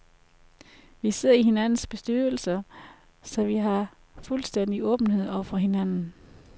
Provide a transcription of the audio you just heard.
Vi sidder i hinandens bestyrelser, så vi har fuldstændig åbenhed over for hinanden.